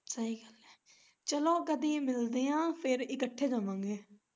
ਸਹੀ ਗੱਲ ਐ ਚੱਲੋ ਕਦੀ ਮਿਲਦੇ ਆ ਫੇਰ ਇਕੱਠੇ ਜਾਵਾਂਗੇ।